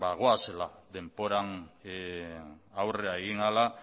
bagoazela denboran aurrera egin ahala